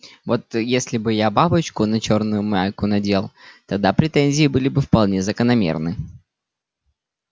вот если бы я бабочку на чёрную майку надел тогда претензии были бы вполне закономерны